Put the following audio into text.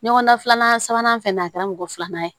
Ɲɔgɔndan filanan sabanan fɛnɛ na a kɛra mɔgɔ filanan ye